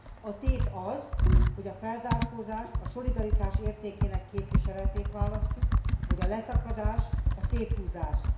A tét az, hogy a felzárkózást, a szolidaritás értékének képviseletét választjuk, vagy a leszakadást, a széthúzást.